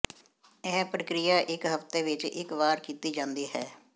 ਇਹ ਪ੍ਰਕਿਰਿਆ ਇੱਕ ਹਫ਼ਤੇ ਵਿੱਚ ਇੱਕ ਵਾਰ ਕੀਤੀ ਜਾਂਦੀ ਹੈ